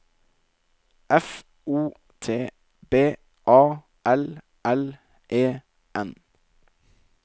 F O T B A L L E N